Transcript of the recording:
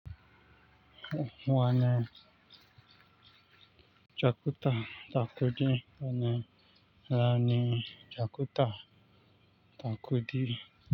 Wane jakuta takudi wane rani jakuta takudi.